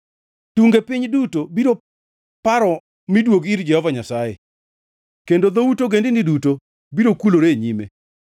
Tunge piny duto biro paro miduog ir Jehova Nyasaye, kendo dhout ogendini duto biro kulore e nyime,